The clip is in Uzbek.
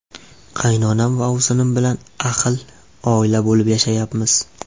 Qaynonam va ovsinim bilan ahil oila bo‘lib yashayapmiz.